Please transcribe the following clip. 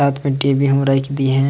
साथ में टी.बी हूं रईख दीन आय।